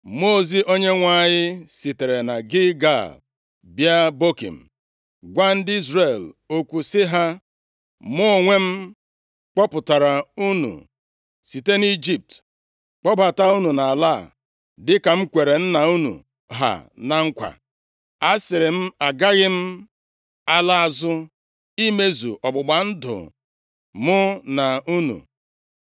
Mmụọ ozi Onyenwe anyị sitere na Gilgal bịa Bokim gwa ndị Izrel okwu sị ha, “Mụ onwe m kpọpụtara unu site nʼIjipt, kpọbata unu nʼala a dịka m kwere nna unu ha na nkwa. Asịrị m, ‘Agaghị m ala azụ imezu ọgbụgba ndụ mụ na unu,